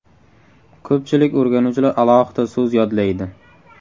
Ko‘pchilik o‘rganuvchilar alohida so‘z yodlaydi.